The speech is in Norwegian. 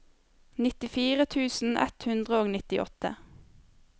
nittifire tusen ett hundre og nittiåtte